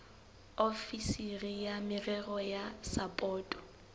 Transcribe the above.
ofisiri ya merero ya sapoto